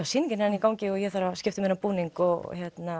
sýningin er enn í gangi og ég þarf að skipta um búning og